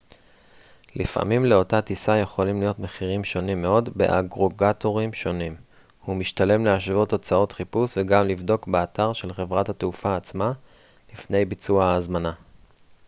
לפעמים לאותה טיסה יכולים להיות מחירים שונים מאוד באגרגטורים שונים ומשתלם להשוות תוצאות חיפוש וגם לבדוק באתר של חברת התעופה עצמה לפני ביצוע ההזמנה